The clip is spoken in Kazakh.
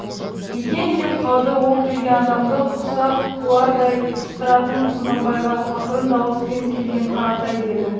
екен деп қалды ол келген адамды құса қылардай пыстыратын құнанбайға ақырын дауыспен келген қаратай деді